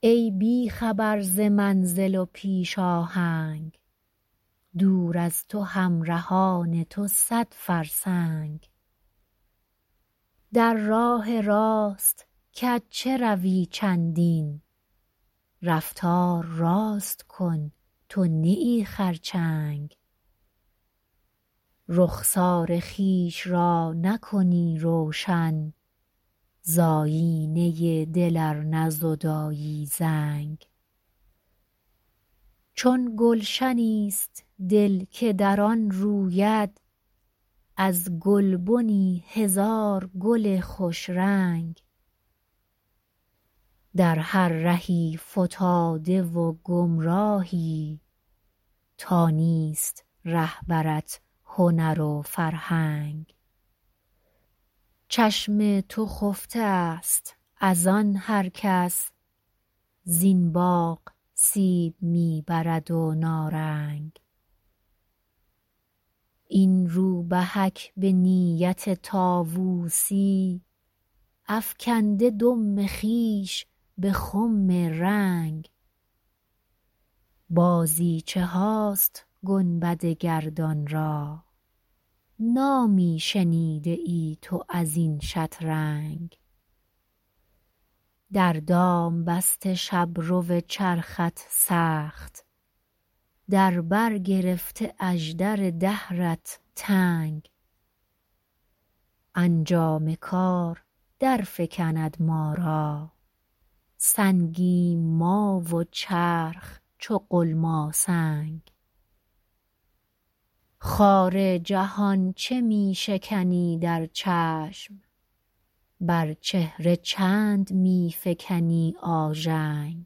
ای بی خبر ز منزل و پیش آهنگ دور از تو همرهان تو صد فرسنگ در راه راست کج چه روی چندین رفتار راست کن تو نه ای خرچنگ رخسار خویش را نکنی روشن ز آیینه دل ار نزدایی زنگ چون گلشنی است دل که در آن روید از گلبنی هزار گل خوش رنگ در هر رهی فتاده و گمراهی تا نیست رهبرت هنر و فرهنگ چشم تو خفته است از آن هر کس زین باغ سیب می برد و نارنگ این روبهک به نیت طاوسی افکنده دم خویش به خم رنگ بازیچه هاست گنبد گردان را نامی شنیده ای تو ازین شترنگ در دام بسته شبرو چرخت سخت در بر گرفته اژدر دهرت تنگ انجام کار در فکند ما را سنگیم ما و چرخ چو غلماسنگ خار جهان چه می شکنی در چشم بر چهره چند می فکنی آژنگ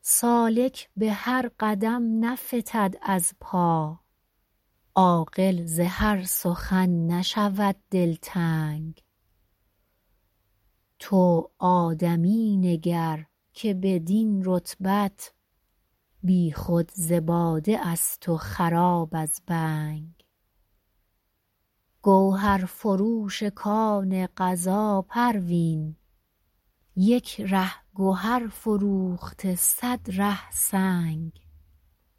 سالک به هر قدم نفتد از پا عاقل ز هر سخن نشود دلتنگ تو آدمی نگر که بدین رتبت بی خود ز باده است و خراب از بنگ گوهرفروش کان قضا پروین یک ره گهر فروخته صد ره سنگ